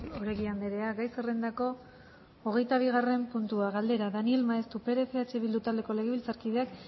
oregi andrea gai zerrendako hogeita bigarren puntua galdera daniel maeztu perez eh bildu taldeko legebiltzarkideak